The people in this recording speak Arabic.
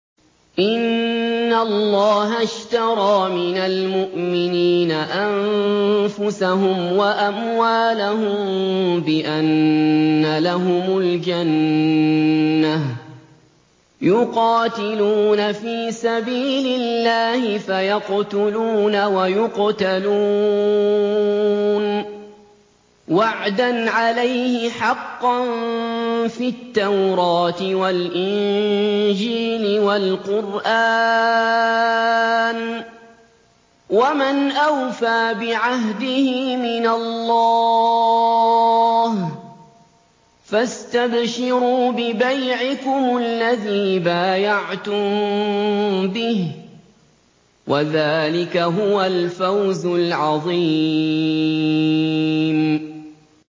۞ إِنَّ اللَّهَ اشْتَرَىٰ مِنَ الْمُؤْمِنِينَ أَنفُسَهُمْ وَأَمْوَالَهُم بِأَنَّ لَهُمُ الْجَنَّةَ ۚ يُقَاتِلُونَ فِي سَبِيلِ اللَّهِ فَيَقْتُلُونَ وَيُقْتَلُونَ ۖ وَعْدًا عَلَيْهِ حَقًّا فِي التَّوْرَاةِ وَالْإِنجِيلِ وَالْقُرْآنِ ۚ وَمَنْ أَوْفَىٰ بِعَهْدِهِ مِنَ اللَّهِ ۚ فَاسْتَبْشِرُوا بِبَيْعِكُمُ الَّذِي بَايَعْتُم بِهِ ۚ وَذَٰلِكَ هُوَ الْفَوْزُ الْعَظِيمُ